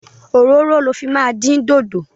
Òróró lo máa fi dín dodo.